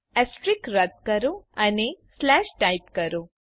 asterisk રદ કરો અને સ્લેશ ટાઇપ કરો